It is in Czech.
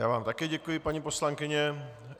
Já vám také děkuji, paní poslankyně.